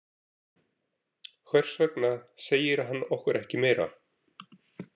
Hvers vegna segir hann okkur ekki meira?